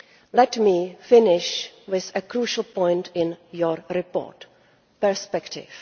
Let me finish with a crucial point in your report perspective.